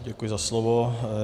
Děkuji za slovo.